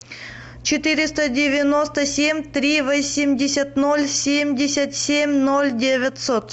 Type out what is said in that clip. четыреста девяносто семь три восемьдесят ноль семьдесят семь ноль девятьсот